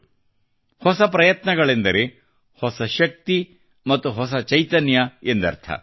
ಮತ್ತು ಹೊಸ ಪ್ರಯತ್ನಗಳೆಂದರೆ ಹೊಸ ಶಕ್ತಿ ಮತ್ತು ಹೊಸ ಚೈತನ್ಯ ಎಂದರ್ಥ